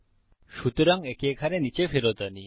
সুতরাং একে এখানে নীচে ফেরত আনি